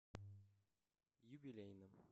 юбилейном